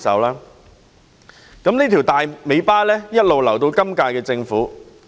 於是，這條"大尾巴"留給了今屆政府。